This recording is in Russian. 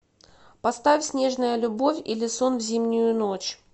поставь снежная любовь или сон в зимнюю ночь